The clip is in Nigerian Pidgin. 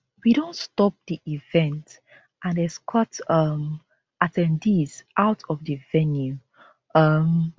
we don stop di event and escort um at ten dees out of di venue um